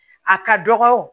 A ka dɔgɔ